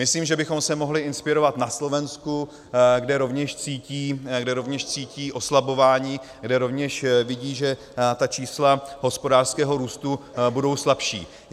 Myslím, že bychom se mohli inspirovat na Slovensku, kde rovněž cítí oslabování, kde rovněž vidí, že ta čísla hospodářského růstu budou slabší.